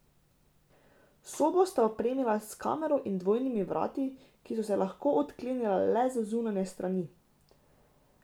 Sobo sta opremila s kamero in dvojnimi vrati, ki so se lahko odklenila le z zunanje strani.